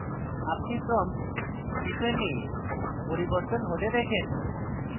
আমরা prompt cpan we পরিবর্তন হতে দেখেন